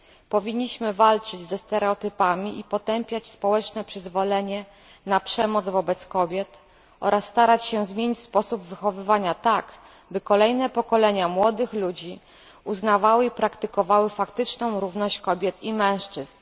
Powinniśmy walczyć ze stereotypami i potępiać społeczne przyzwolenie na przemoc wobec kobiet oraz starać się zmienić sposób wychowywania tak, by kolejne pokolenia młodych ludzi uznawały i praktykowały faktyczną równość kobiet i mężczyzn.